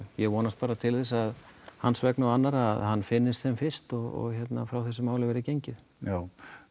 ég vonast bara til þess hans vegna og annarra að hann finnist sem fyrst og hérna að frá þessu máli verði gengið já